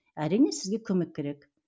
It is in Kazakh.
әрине сізге көмек керек